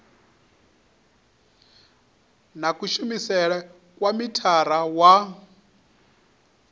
na kushumele kwa mithara wa